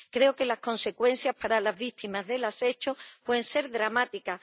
Creo que las consecuencias para las víctimas de los hechos pueden ser dramáticas.